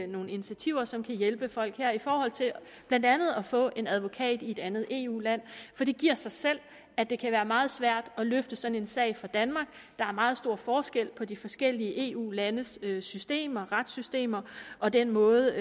nogle initiativer som kan hjælpe folk med blandt andet at få en advokat i et andet eu land for det giver sig selv at det kan være meget svært at løfte sådan en sag fra danmark der er meget store forskelle på de forskellige eu landes retssystemer retssystemer og den måde